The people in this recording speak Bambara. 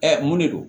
mun de don